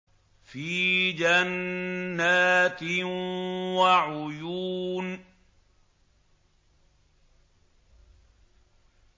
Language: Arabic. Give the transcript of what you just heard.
فِي جَنَّاتٍ وَعُيُونٍ